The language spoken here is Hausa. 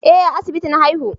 Eh a asibiti na haihu